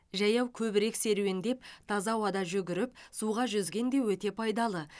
жаяу көбірек серуендеп таза ауада жүгіріп суға жүзген де өте пайдалы